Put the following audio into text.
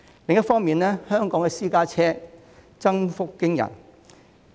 另一方面，本港私家車數目增幅驚人。